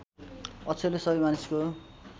अक्षरले सबै मानिसको